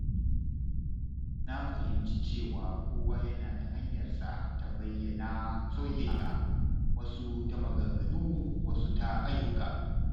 Na fahimci cewa kowa yana da hanyarsa ta bayyana soyayya, wasu ta maganganu, wasu ta ayyuka.